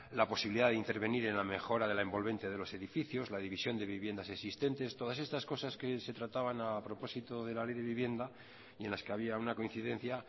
la posibilidad de intervenir en la mejora de la envolvente de los edificios la división de viviendas existentes todas estas cosas que se trataban a propósito de la ley de vivienda y en las que había una coincidencia